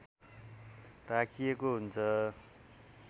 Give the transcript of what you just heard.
राखिएको हुन्छ